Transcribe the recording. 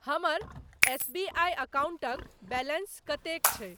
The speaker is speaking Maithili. हमर एस बी आई अकाउंटक बैलेंस कतेक छै?